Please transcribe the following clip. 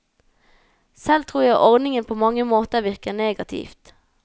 Selv tror jeg ordningen på mange måter virker negativt.